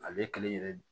Ale kelen yɛrɛ